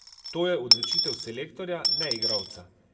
To je odločitev selektorja, ne igralca.